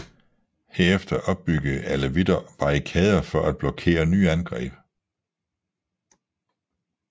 Herefter opbyggede alevitter barrikader for at blokere nye angreb